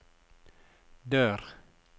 dør